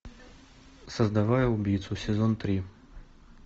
создавая убийцу сезон три